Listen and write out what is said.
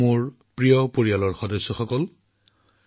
ঈশ্বৰে তেওঁক ইমান শক্তিৰে ভৰাই দিছে যে আপোনালোকেও তেওঁক চোৱাৰ সুযোগ পাব